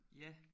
Ja